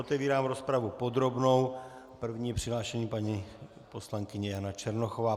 Otevírám rozpravu podrobnou, první je přihlášená paní poslankyně Jana Černochová.